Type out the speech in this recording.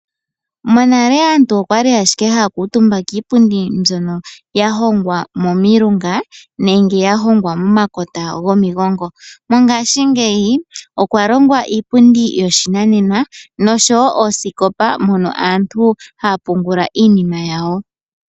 Monale aantu oya li ashike haya kuutumba kiipundi mbyono ya hongwa komilunga nenge ya hongwa momakota gomigongo. Mongashingeyi okwa longwa iipundi yoshinanena nosho wo oosikopa mono aantu haya pungula iinima yawo.